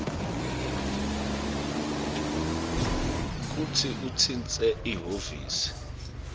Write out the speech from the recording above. kutsi utsintse lihhovisi